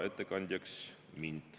Aitäh!